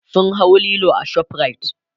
sun hau Lilo a shoprite